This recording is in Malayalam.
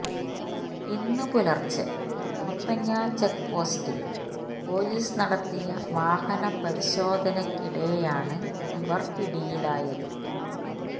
ഇന്ന് പുലര്ച്ചെ മുത്തങ്ങ ചെക്പോസ്റ്റില് പോലീസ് നടത്തിയ വാഹനപരിശോധനക്കിടെയാണ് ഇവര് പിടിയിലായത്